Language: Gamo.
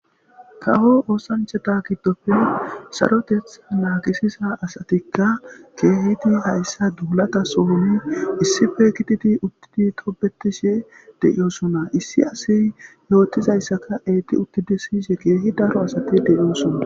kawo oosancheta gidopfe saroteth naakisiza asatikka keehidi hayssa duulata sohoni issife kititi uttidi tobetishe de7iyosuna issi asi yootizayssaka eeti ukkidi siyishe keehi daro asati deiyosunna